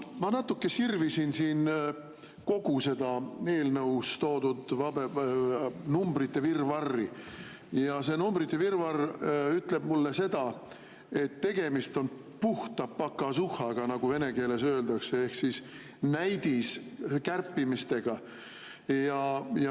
Ma natuke sirvisin siin kogu seda eelnõus toodud numbrite virvarri ja see numbrite virvarr ütleb mulle seda, et tegemist on puhta pokazuhhaga, nagu vene keeles öeldakse, ehk näidiskärpimisega.